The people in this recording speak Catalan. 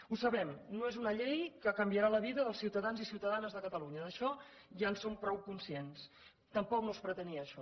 ho sabem no és una llei que canviarà la vida dels ciutadans i ciutadanes de catalunya d’això ja en som prou conscients tampoc no es pretenia això